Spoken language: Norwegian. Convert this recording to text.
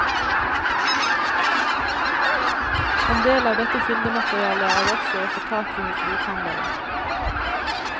En del av dette kildematerialet er også å få tak i hos bokhandlere.